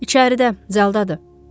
İçəridə, cəldadır.